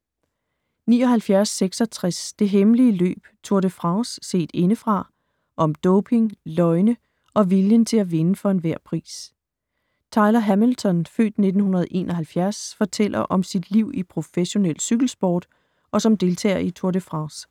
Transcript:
79.66 Det hemmelige løb: Tour de France set indefra - om doping, løgne og viljen til at vinde for enhver pris Tyler Hamilton (f. 1971) fortæller om sit liv i professionel cykelsport og som deltager i Tour de France.